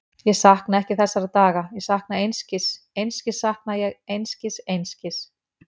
Ég sakna ekki þessara daga, ég sakna einskis, einskis sakna ég, einskis, einskis.